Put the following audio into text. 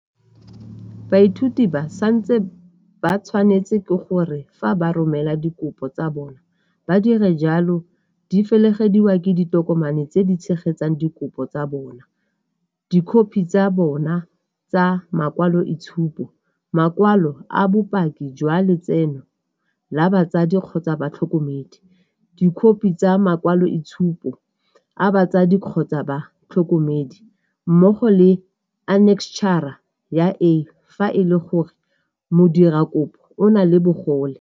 Baithuti ba santse ba tshwanetswe ke gore fa ba romela dikopo tsa bona ba dire jalo di felegediwa ke ditokomane tse di tshegetsang dikopo tsa bona, Dikhophi tsa bona tsa makwaloitshupo, makwalo a bopaki jwa letseno la batsadi-batlhokomedi, dikhophi tsa makwaloitshupo a batsadi-batlhokomedi mmogo le Anekstšhara ya A fa e le gore modirakopo o na le bogole.